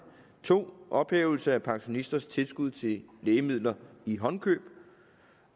2 ophævelse af pensionisters tilskud til lægemidler i håndkøb